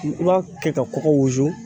I b'a kɛ ka kɔkɔ wusu